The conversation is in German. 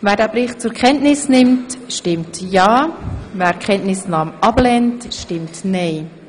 Wer den Bericht zur Kenntnis nimmt, stimmt ja, wer dies ablehnt, stimmt nein.